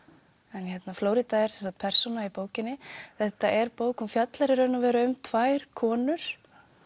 en Flórída er persóna í bókinni þetta er bók hún fjallar í raun og veru um tvær konur